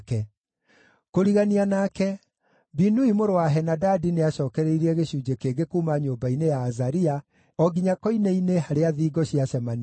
Kũrigania nake, Binui mũrũ wa Henadadi nĩacookereirie gĩcunjĩ kĩngĩ kuuma nyũmba-inĩ ya Azaria o nginya koine-inĩ harĩa thingo ciacemanĩirie,